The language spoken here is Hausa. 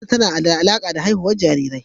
Natal tana da alaƙa da haihuwar jarirai.